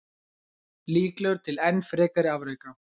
Líklegur til enn frekari afreka.